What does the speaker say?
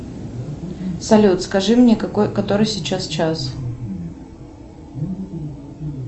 салют скажи мне который сейчас час